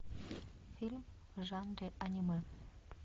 фильм в жанре аниме